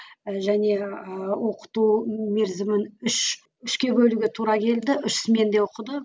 і және ыыы оқыту мерзімін үш үшке бөлуге тура келді үш сменде оқыды